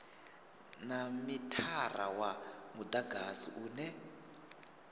na mithara wa mudagasi une